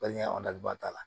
Wali ba t'a la